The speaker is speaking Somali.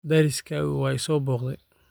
Deriskaygu waa i soo booqday